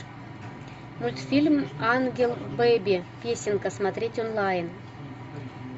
мультфильм ангел бэби песенка смотреть онлайн